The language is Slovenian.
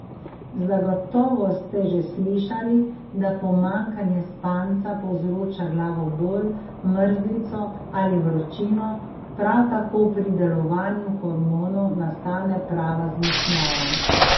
Zagotovo ste že slišali, da pomanjkanje spanca povzroča glavobol, mrzlico ali vročino, prav tako pri delovanju hormonov nastane prava zmešnjava.